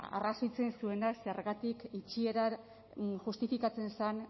arrazoitzen zuenak zergatik itxiera justifikatzen zen